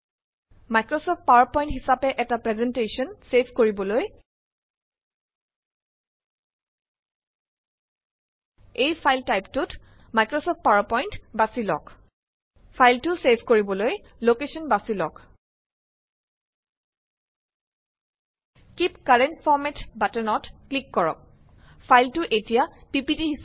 Microsoft PowerPoint হিচাপে এটা presentation save কৰিবলৈ ফাইল টাইপটোত মাইক্ৰচফট পাৱাৰ পইন্ট বাচি লওঁক। ফাইলটো চেভ কৰিবলৈ লকেচন বাচি লওঁক। কিপ কাৰেন্ট ফৰমেট বাটনত ক্লিক কৰক। ফাইলটো এতিয়া পিপিটি